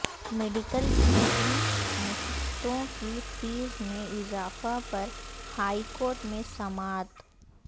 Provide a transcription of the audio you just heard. medical P G نشستوں کی fee میں اضافہ پر ہائی کورٹ میں سماعت